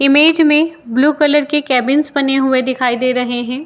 Image में blue colour के cabins बने हुए दिखाई दे रहे हैं।